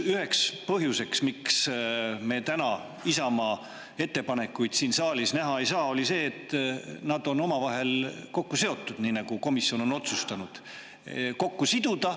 Üks põhjus, miks me täna Isamaa ettepanekuid siin saalis näha ei saa, oli see, et need on omavahel kokku seotud, nagu komisjon on otsustanud need kokku siduda.